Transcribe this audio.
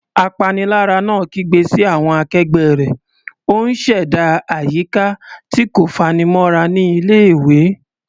Apanilára náà kígbe sí àwọn akẹgbẹ́ rẹ̀, ó ń ṣẹ̀dá àyíká tí kò fanimọ́ra ní ilé-ìwé.